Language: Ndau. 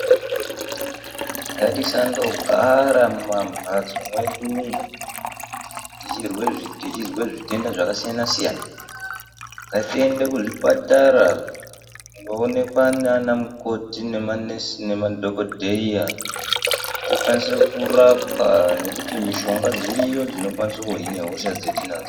Ngatisandogaraa mumambatso mwedu umwoo tichizwe zvitenda zvakasiyana siyana ngatiende kuzvipatara kunoonekwa naana mukoti nemanesi nemadhokodheya tikwanise kurapwa ngekuti mishonga dziriyo dzinokwanise kuhina hosha dzatinadzo.